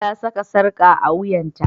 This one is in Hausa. Ta saka sarka a wuyanta.